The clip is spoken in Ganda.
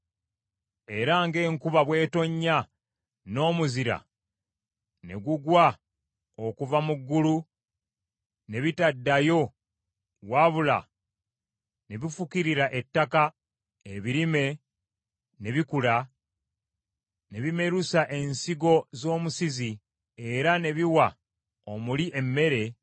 Era ng’enkuba bwetonnya n’omuzira ne gugwa okuva mu ggulu n’ebitaddayo, wabula ne bifukirira ettaka, ebirime ne bikula, ne bimerusa ensigo z’omusizi, era ne biwa omuli emmere,